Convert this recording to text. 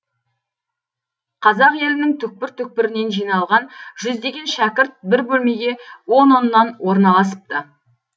қазақ елінің түкпір түкпірінен жиналған жүздеген шәкірт бір бөлмеге он оннан орналасыпты